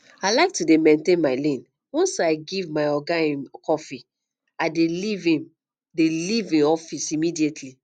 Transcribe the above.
i like to dey maintain my lane once i give my oga im coffee i dey leave im dey leave im office immediately